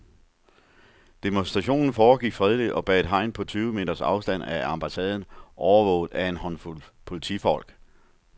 Demonstrationen foregik fredeligt og bag et hegn på tyve meters afstand af ambassaden, overvåget af en håndfuld politifolk.